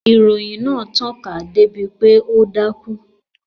Ìròyìn náà tàn ká dé bi pé ó dákún